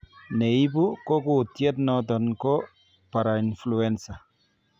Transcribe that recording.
Neibu ko kutiet noton ko parainfluenza